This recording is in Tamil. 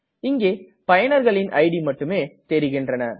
இங்கே பயனர்களின் இட் மட்டுமே தெரிகின்றன